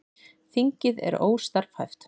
Þingið er óstarfhæft